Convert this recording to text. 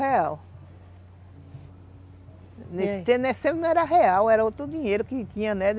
Nesse tempo nesse tempo não era real, era outro dinheiro que que tinha, né?